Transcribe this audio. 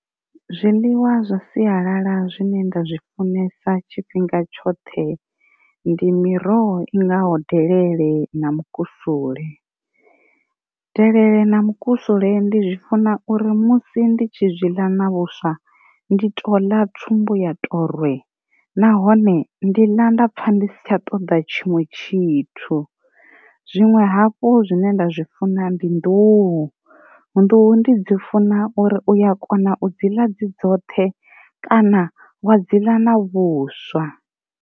Zwiḽiwa zwa sialala zwine nda zwi funesa tshifhinga tshoṱhe ndi miroho i ngaho delele na mukusule. Delele na mukusule ndi zwi funa uri musi ndi tshi zwiḽa na vhuswa ndi to ḽa tsumbo ya to rwe, nahone ndi ḽa nda pfha ndi si tsha ṱoḓa tshiṅwe tshithu, zwinwe hafhu zwine nda zwi funa ndi nḓuhu, nḓuhu ndi dzi funa uri uya kona u dzula dzi dzoṱhe kana wa dziḽa na vhuswa.